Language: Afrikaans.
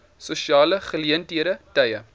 sosiale geleenthede tye